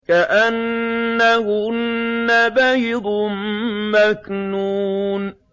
كَأَنَّهُنَّ بَيْضٌ مَّكْنُونٌ